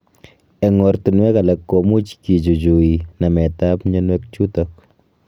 Eng ortunuek alak komuch kichuchui namet ab myonwek chutok